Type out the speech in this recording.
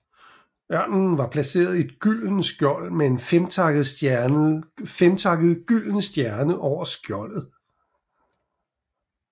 Ørnen var placeret i et gyldent skjold med en femtakket gylden stjerne over skjoldet